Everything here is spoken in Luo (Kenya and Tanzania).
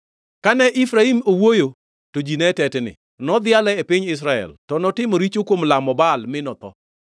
Kane Efraim owuoyo, to ji ne tetni, nodhiale e piny Israel. To notimo richo kuom lamo Baal, mi notho.